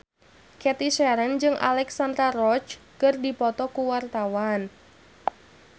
Cathy Sharon jeung Alexandra Roach keur dipoto ku wartawan